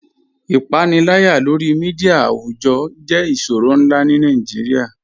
Ipànìlàyà lórí mídia àwùjọ̀ jẹ̀ ìṣòrọ̀ nlá ní Nàìjíríà.